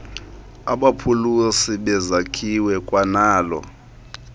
abaphuhlisi bezakhiwo kwanalo